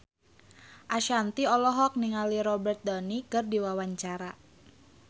Ashanti olohok ningali Robert Downey keur diwawancara